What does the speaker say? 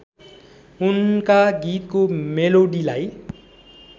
उनका गीतको मेलोडीलाई